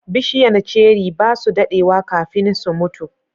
bishiyan ceri basu daɗewa kafin su mutu